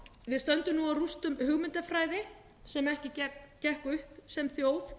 við stöndum nú á rústum hugmyndafræði sem gekk ekki upp sem þjóð